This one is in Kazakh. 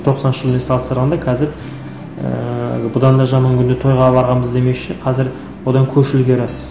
тоқсаныншы жылмен салыстырғанда қазір ііі бұдан да жаман күнде тойға барғанбыз демекші қазір одан көш ілгері